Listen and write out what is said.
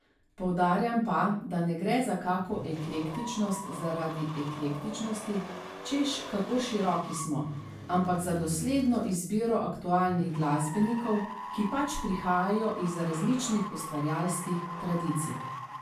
Poudarjam pa, da ne gre za kako eklektičnost zaradi eklektičnosti, češ kako široki smo, ampak za dosledno izbiro aktualnih glasbenikov, ki pač prihajajo iz različnih ustvarjalskih tradicij.